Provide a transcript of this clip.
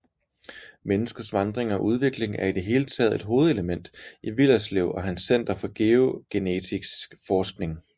Menneskets vandring og udvikling er i det hele taget et hovedelement i Willerslev og hans Center for GeoGenetiks forskning